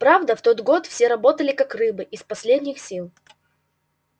правда в тот год все работали как рабы из последних сил